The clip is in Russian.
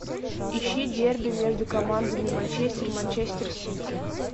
ищи дерби между командами манчестер манчестер сити